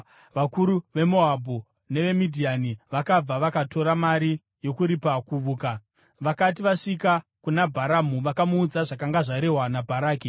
Vakuru veMoabhu neveMidhiani vakabva, vakatora mari yokuripa kuvuka. Vakati vasvika kuna Bharamu vakamuudza zvakanga zvarehwa naBharaki.